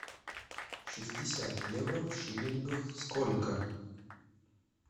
шестьдесят евро в шиллингах сколько